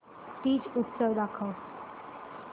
तीज उत्सव दाखव